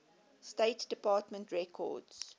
state department records